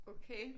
Okay?